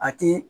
A ti